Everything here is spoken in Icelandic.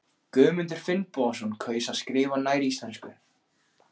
Guðmundur Finnbogason kaus að skrifa nær íslensku.